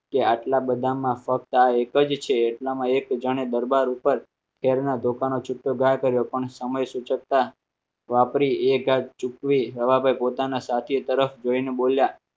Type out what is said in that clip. કે આટલા બધા માં ફક્ત એક જ છે એટલામાં એક જાણે દરબાર ઉપર ટેરના દુકાનો છૂટો કર્યો પણ સમય સૂચકતા વાપરીએ ગાઢ ચૂકવી રવાભાઈ પોતાના સાથે તરફ જઈને બોલ્યા